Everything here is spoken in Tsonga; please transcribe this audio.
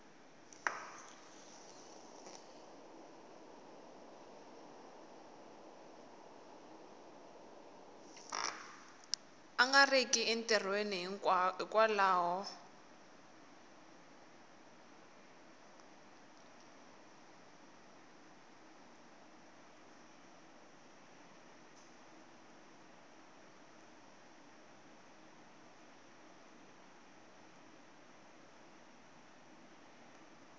a nga riki entirhweni hikwalaho